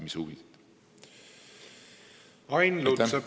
Ain Lutsepp, palun!